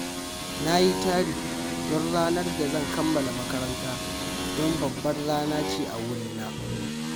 Na yi tari don ranar da zan kammala makaranta, don babbar rana ce a wurina